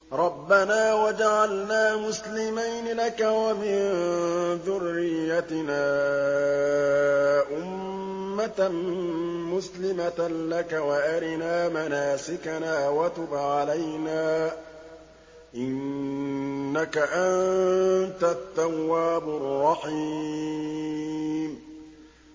رَبَّنَا وَاجْعَلْنَا مُسْلِمَيْنِ لَكَ وَمِن ذُرِّيَّتِنَا أُمَّةً مُّسْلِمَةً لَّكَ وَأَرِنَا مَنَاسِكَنَا وَتُبْ عَلَيْنَا ۖ إِنَّكَ أَنتَ التَّوَّابُ الرَّحِيمُ